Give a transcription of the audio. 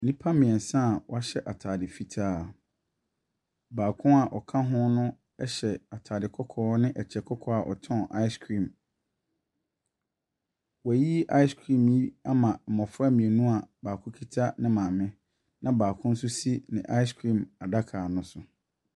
Nnipa mmiɛnsa wɔahyɛ ntaade fitaa. Baako a ɔka ho no ɛhyɛ ntaadeɛ kɔkɔɔ ne ɛkyɛ kɔkɔɔ ɛtɔn ice cream. Wayi ice cream ne bi ama mmɔfra mmienu a baako kita ne maame na baako nso si ne ice cream adaka no so.